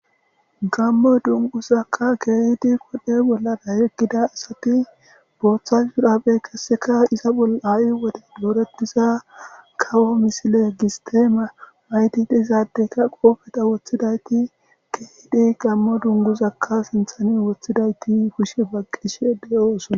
Gammo dunguzakka keehidi qodhe bollara yeggida asati booththa suraaphe kesseka iza bol aa7i wodey dooretiza kawo misile gis teeme maytid izaadeyka qoofeta woththidayti keehidi gammo dunguzakka sinthani woththidayti kushe baqqishe de7oo sona.